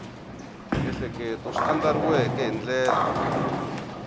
miehleketo swi andlariweke hi ndlela